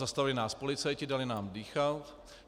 Zastavili nás policajti, dali nám dýchnout.